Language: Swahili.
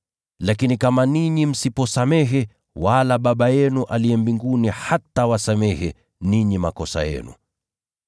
Lakini kama ninyi msiposamehe, wala Baba yenu aliye mbinguni hatawasamehe ninyi makosa yenu.]”